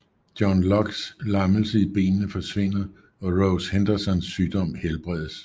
John Lockes lammelse i benene forsvinder og Rose Hendersons sygdom helbredes